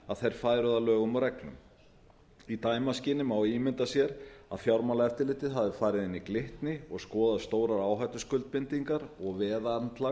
að þeir færu að lögum og öllum í dæmaskyni má ímynda sér að fjármálaeftirlitið hafi farið inn í glitni og skoðað stórar áhættuskuldbindingar og